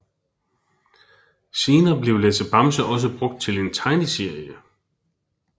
Senere blev Lasse Bamse også brugt til en tegneserie